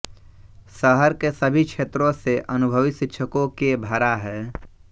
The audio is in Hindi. शहर के सभी क्षेत्रों से अनुभवी शिक्षकों के भरा है